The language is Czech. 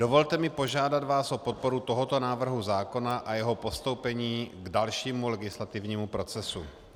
Dovolte mi požádat vás o podporu tohoto návrhu zákona a jeho postoupení k dalšímu legislativnímu procesu.